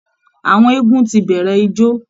Àwọn eégún ti bẹ̀rẹ̀ ijó